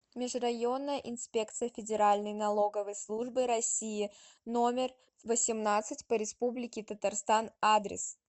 межрайонная инспекция федеральной налоговой службы россии номер восемнадцать по республике татарстан адрес